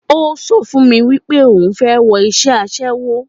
Ó sọ fún mi pé òun fẹ́ wọ iṣẹ́ aṣẹ́wó